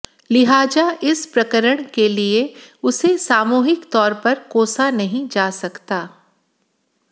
लिहाजा इस प्रकरण के लिए उसे सामूहिक तौर पर कोसा नहीं जा सकता